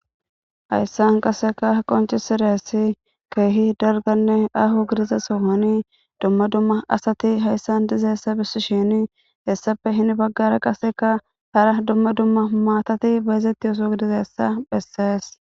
Zayssan qaseka qoncisidassi keehi darganne aho gidize sohoni dumma dumma asati hayssan dize hessa bissi shini hessafe hini baggara qaseka hara dumma dumma maatati beezetti oso gidizessa phessees.